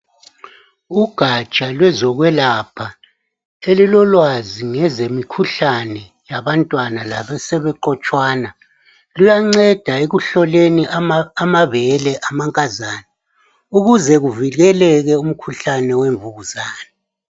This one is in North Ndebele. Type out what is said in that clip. Ugatsha lozokwelapha elilolwazi ngezemikhuhlane yabantwana labasebeqotshwana. Luyanceda ekuhloleni amabele amankazana ukuze kuvikeleke umkhuhlane wemvukuzane.